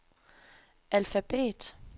alfabet